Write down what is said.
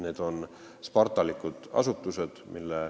Need on spartalikud asutused.